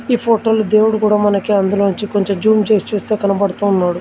ఈ ఫోటోలో దేవుడు కూడా మనకి అందులోంచి కొంచెం జూమ్ చేసి చూస్తే కనబడుతూ ఉన్నాడు.